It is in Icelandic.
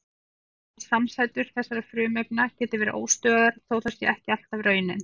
Aðrar samsætur þessara frumefna geta verið óstöðugar þó það sé ekki alltaf raunin.